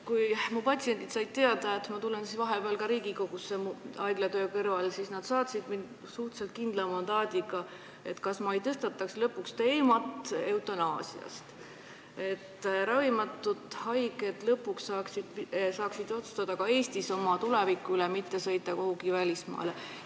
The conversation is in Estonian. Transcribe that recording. Kui mu patsiendid said teada, et ma tulen haiglatöö kõrvalt vahepeal ka Riigikogusse, siis nad saatsid mind siia suhteliselt kindla mandaadiga, et kas ma ei tõstataks lõpuks teemat eutanaasiast, et ravimatud haiged lõpuks saaksid otsustada ka Eestis oma tuleviku üle, mitte ei peaks selleks sõitma kuhugi välismaale.